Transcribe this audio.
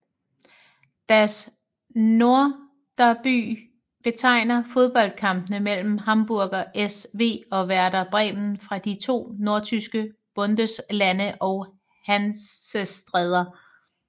Das Nordderby betegner fodboldkampene mellem Hamburger SV og Werder Bremen fra de to nordtyske Bundeslande og Hansestæder